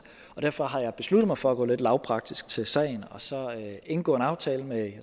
og derfor har jeg besluttet mig for at gå lidt lavpraktisk til sagen og så indgå en aftale med